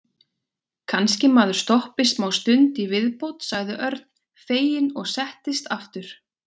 Kannski maður stoppi smástund í viðbót sagði Örn feginn og settist aftur.